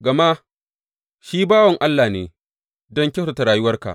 Gama shi bawan Allah ne don kyautata rayuwarka.